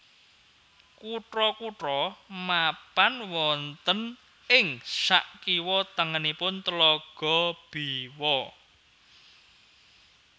Kutha kutha mapan wonten ing sakiwa tengenipun Tlaga Biwa